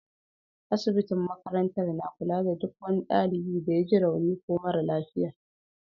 Asibitin makarantar na kula da duk wani dalibi da ya ji rauni ko mara lafiya.